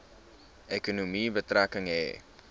ekonomie betrekking hê